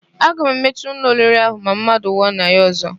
A ga-emechi ụlọ oriri ahụ ma mmadụ nwụọ na ya ọ̀zọ́.